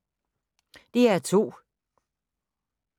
DR2